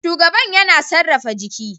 Shugaban yana sarrafa jiki